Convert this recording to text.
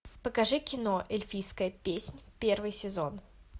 покажи кино эльфийская песнь первый сезон